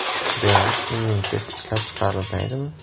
Demak, immunitet ishlab chiqarilmaydimi?